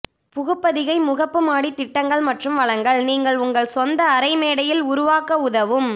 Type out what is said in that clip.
புகுபதிகை முகப்பு மாடி திட்டங்கள் மற்றும் வளங்கள் நீங்கள் உங்கள் சொந்த அறை மேடையில் உருவாக்க உதவும்